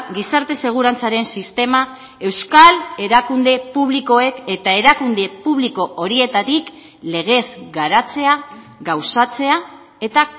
gizarte segurantzaren sistema euskal erakunde publikoek eta erakunde publiko horietatik legez garatzea gauzatzea eta